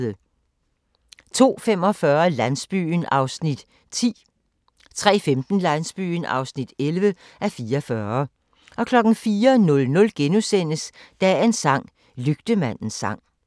02:45: Landsbyen (10:44) 03:15: Landsbyen (11:44) 04:00: Dagens sang: Lygtemandens sang *